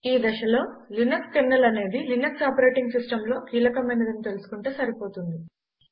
ఈ దశలో Linux kernel అనేది లినక్స్ ఆపరేటింగ్ సిస్టమ్లో కీలకమైనదని తెలుసుకుంటే సరిపోతుంది